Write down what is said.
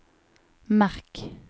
merk